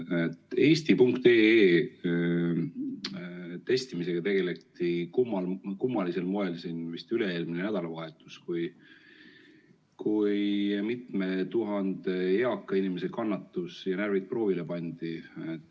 Selle eesti.ee testimisega tegeleti kummalisel moel vist üle-eelmine nädalavahetus, kui mitme tuhande eaka inimese kannatus ja närvid proovile pandi.